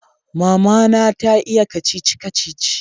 Mama na ta iya kacici-kacici